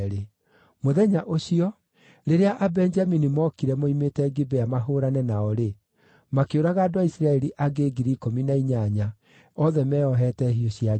Mũthenya ũcio, rĩrĩa Abenjamini mookire moimĩte Gibea mahũũrane nao-rĩ, makĩũraga andũ a Isiraeli angĩ 18,000, othe meeohete hiũ cia njora.